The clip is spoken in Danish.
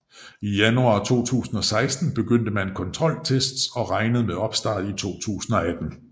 I januar 2016 begyndte man kontroltests og regnede med opstart i 2018